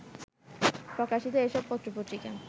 প্রকাশিত এসব পত্রপত্রিকা